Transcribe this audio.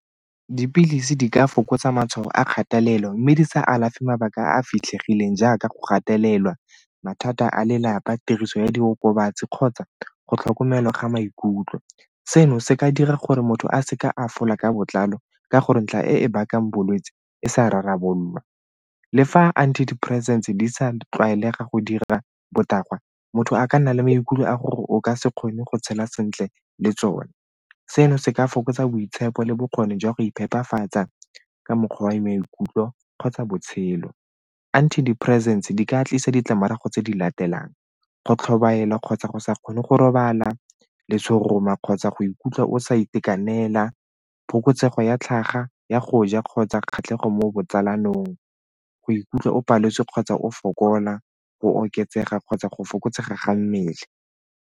Dipilisi di ka fokotsa matshwao a kgatelelo mme di sa alafe mabaka a a fitlhegileng jaaka go gatelelwa, mathata a lelapa, tiriso ya diokobatsi kgotsa go tlhokomelwa ga maikutlo. Seno se ka dira gore motho a seka a fola ka botlalo ka gore ntlha e e bakang bolwetse e sa rarabololwa. Le fa anti depressants di sa tlwaelega go dira botagwa, motho a ka nna le maikutlo a gore o ka se kgone go tshela sentle le tsone. Seno se ka fokotsa boitshepo le bokgoni jwa go iphepafatsa ka mokgwa wa maikutlo kgotsa botshelo. Anti diperesente di ka tlisa ditlamorago tse di latelang go tlhobaela kgotsa go sa kgone go robala le seroma kgotsa go ikutlwa o sa itekanela, phokotsego ya tlhaga ya go ja kgotsa kgatlhego mo botsalanong, go ikutlwa o paletswe kgotsa o fokola, go oketsega kgotsa go fokotsega ga mmele.